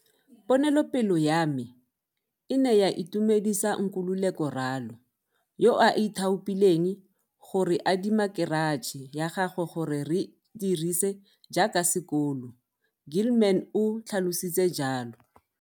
Ponelopele ya me e ne ya itumedisa Nkululeko Ralo, yo a ithaopileng go re adima keratšhe ya gagwe gore re e dirise jaaka sekolo, Gilman o tlhalositse jalo.